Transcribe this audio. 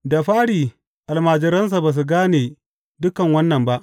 Da fari almajiransa ba su gane dukan wannan ba.